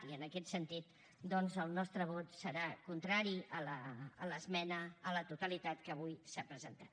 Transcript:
i en aquest sentit doncs el nostre vot serà contrari a l’esmena a la totalitat que avui s’ha presentat